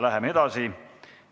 Läheme edasi.